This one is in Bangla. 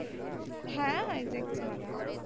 হ্যাঁ ভাইজ্যাক ছাড়া।